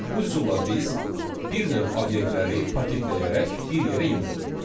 Bu üsulla biz bir növ obyektləri paketləyərək bir yerə yığdıq.